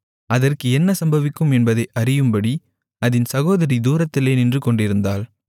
அதற்கு என்ன சம்பவிக்கும் என்பதை அறியும்படி அதின் சகோதரி தூரத்திலே நின்றுகொண்டிருந்தாள்